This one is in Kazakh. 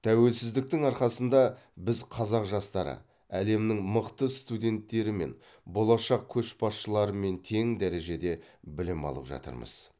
тәуелсіздіктің арқасында біз қазақ жастары әлемнің мықты студенттерімен болашақ көшбасшыларымен тең дәрежеде білім алып жатырмыз